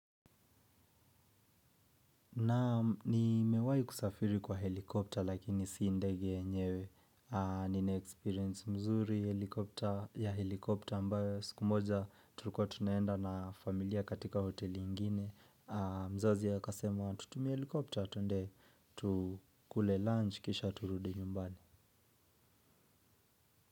Naam ni mewahi kusafiri kwa helicopter lakini si ndege yenyewe. Ni naexperience mzuri ya helicopter ambayo siku moja tulikua tunaenda na familia katika hoteli ingine. Mzazi akasema tutumie helicopter twende tukule lunch kisha turudi nyumbani.